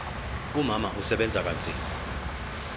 umama usebenza kanzima